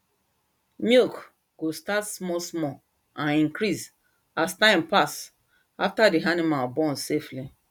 milk go start small small and increase as time pass after the animal born safely